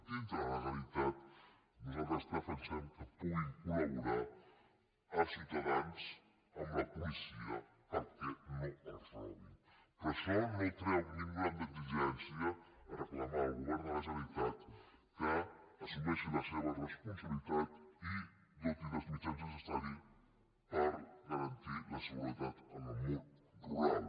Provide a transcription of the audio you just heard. dintre de la legalitat nosaltres defensem que puguin col·laborar els ciutadans amb la policia perquè no els robin però això no treu ni un gram d’exigència a reclamar al govern de la generalitat que assumeixi les seves responsabilitats i doti dels mitjans necessaris per garantir la seguretat en el món rural